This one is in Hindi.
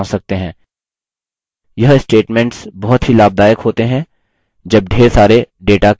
इसी प्रकार से आप अन्य conditional statements को लागू कर सकते हैं और उत्तर जाँच सकते हैं